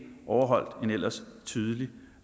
overholdt en ellers tydelig